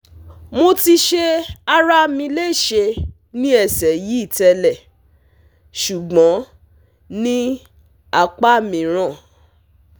Mo ti se arami lese ni ese yi tele sugbon ni apamiran